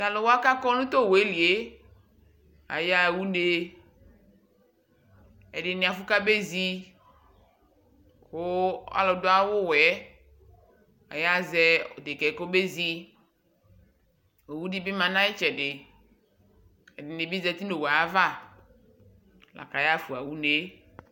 Tʋ alʋ wa kʋ akɔ tʋ owu yɛ li yɛ, ayaɣa une Ɛdɩnɩ afʋ kamezi kʋ alʋ dʋ awʋwɛ yɛ ɔyazɛ dekǝ yɛ kɔbezi Owu dɩ bɩ ma nʋ ayʋ ɩtsɛdɩ Ɛdɩnɩ bɩ zati nʋ owu ava la kʋ ayaɣa unne